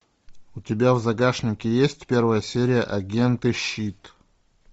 у тебя в загашнике есть первая серия агенты щит